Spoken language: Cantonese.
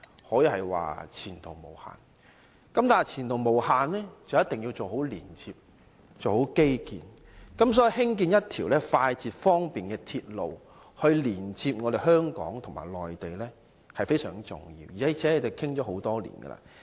可是，要前途無限，便一定要做好連接和基建，因此興建一條快捷方便的鐵路連接香港和內地是非常重要的，而且這已討論多年。